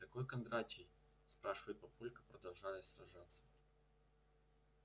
какой кондратий спрашивает папулька продолжая сражаться